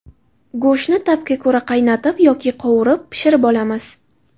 Go‘shtni ta’bga ko‘ra qaynatib yoki qovurib pishirib olamiz.